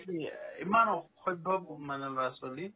কি ইমান অসভ্য ব মানে ল'ৰা-ছোৱালী